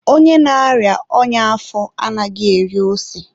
onye na-arịa ọnya afọ anaghị eri ose.